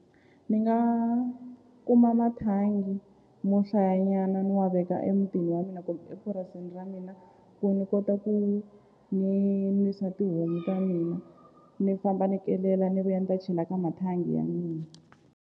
Ni nga kuma mathangi mo hlayanyana ni wa veka emutini wa mina kumbe epurasini ra mina ku ni kota ku ni nwisa tihomu ta mina ni famba ni kelela ni vuya ni ta chela ka mathangi ya mina.